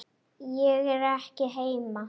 Ég er ekki heima